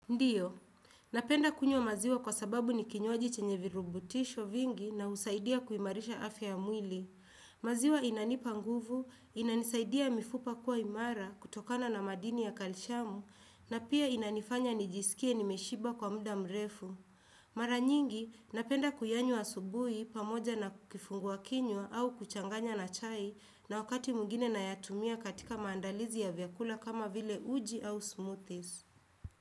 Ndiyo, napenda kunywa maziwa kwa sababu ni kinywaji chenye virubutisho vingi na husaidia kuimarisha afya mwili. Maziwa inanipa nguvu, inanisaidia mifupa kuwa imara kutokana na madini ya kalishamu, na pia inanifanya nijisikie nimeshiba kwa muda mrefu. Mara nyingi, napenda kuyanywa asubuhi pamoja na kifungua kinywa au kuchanganya na chai na wakati mwingine nayatumia katika maandalizi ya vyakula kama vile uji au smoothies.